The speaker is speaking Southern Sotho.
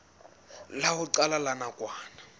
la ho qala la nakwana